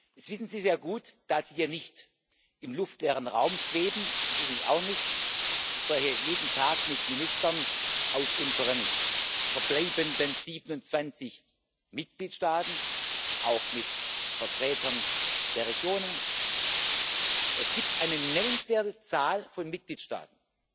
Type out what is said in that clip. Das wissen Sie sehr gut, da Sie hier nicht im luftleeren Raum schweben ich übrigens auch nicht, ich spreche jeden Tag mit Ministern aus unseren verbleibenden 27 Mitgliedstaaten, auch mit Vertretern der Regionen. Es gibt eine nennenswerte Zahl von Mitgliedstaaten,